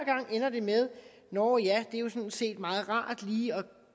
ender det med at nå ja det er jo sådan set meget rart lige at